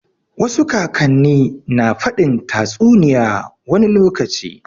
Wasu kakan ne na faɗin tatsuniya wani lokaci